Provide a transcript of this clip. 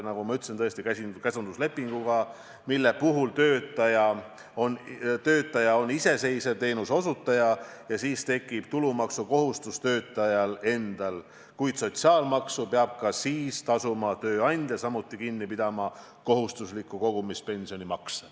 Nagu ma ütlesin, kui tegu tõesti on käsunduslepinguga, siis töötaja on iseseisev teenuseosutaja ja tulumaksukohustus on töötajal endal, kuid sotsiaalmaksu peab ka siis tasuma tööandja, samuti kinni pidama kohustusliku kogumispensioni makse.